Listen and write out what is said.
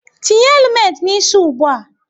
Tinye helumet n'isi ụgbụa!